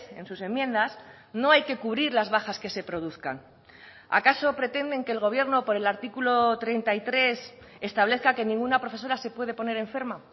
en sus enmiendas no hay que cubrir las bajas que se produzcan acaso pretenden que el gobierno por el artículo treinta y tres establezca que ninguna profesora se puede poner enferma